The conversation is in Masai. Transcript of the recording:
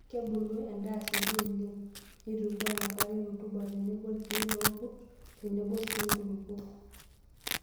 Kebulu endaa asioki oleng',neitukuoo enkare rutuba tenebo ilkeek loorkurt tenebo sii nkulukuok.